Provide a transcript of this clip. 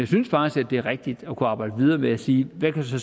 synes faktisk det er rigtigt at kunne arbejde videre ved at sige hvad der så